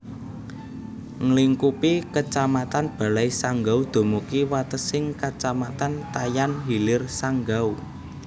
Nglingkupi Kecamatan Balai Sanggau dumugi watesing Kecamatan Tayan Hilir Sanggau